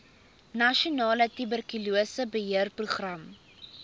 nasionale tuberkulose beheerprogram